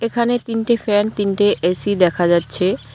এখানে তিনটে ফ্যান তিনটে এ_সি দেখা যাচ্ছে।